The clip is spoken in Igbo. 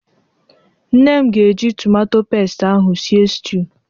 Nne m ga-eji tomato pest ahụ sie stiu.